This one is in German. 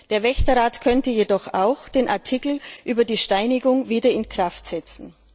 Der Wächterrat könnte jedoch auch den Artikel über die Steinigung wieder in Kraft setzen.